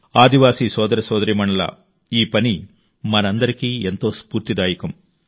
ఆదివాసీ సోదర సోదరీమణుల ఈ పని మనందరికీ ఎంతో స్ఫూర్తిదాయకం